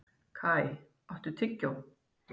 Kai, áttu tyggjó?